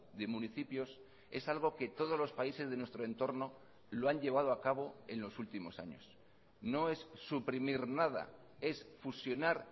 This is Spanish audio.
de municipios es algo que todos los países de nuestro entorno lo han llevado a cabo en los últimos años no es suprimir nada es fusionar